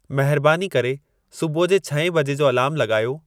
महिरबानी करे सुबुह जे छहें बजे जो अलार्मु लॻायो